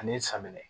Ani samiyɛ